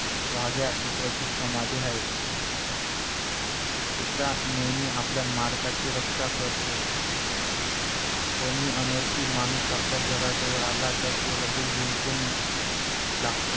वाघ्या कुत्र्याची समाधी आहे कुत्रा नेहमी आपल्या मालकाची रक्षा करतो कोणी अनोळखी माणूस आपल्या घराजवळ आला तर तो लगेच भुंकून लागतो